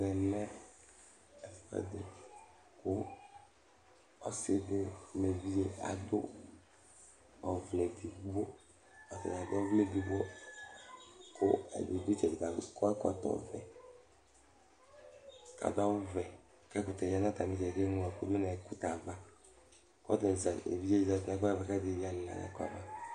Ɔsiɖi ŋu evidze ɖi aɖu ɔvlɛ ɛɖigbo Ɛɖi ɖu itsɛɖi akɔ ɛkɔtɔ ɔvɛ ku aɖu awu ɔvɛ Ɛkʋtɛ ɖi ɖu atamitsɛɖi kʋ enyloɖu ŋu ''Ɛkutɛava'' Evidze ɖi zɛti ŋu ɛkuɖi ava kʋ ɛɖi lila ŋu ava